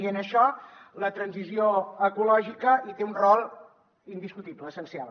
i en això la transició ecològica hi té un rol indiscutible essencial